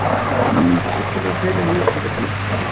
Nánast alla þeirra hjúskapartíð.